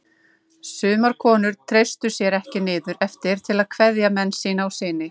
Sumar konur treystu sér ekki niður eftir til að kveðja menn sína og syni.